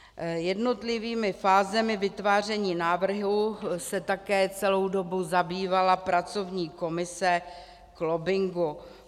Jednotlivými fázemi vytváření návrhu se také celou dobu zabývala pracovní komise k lobbingu.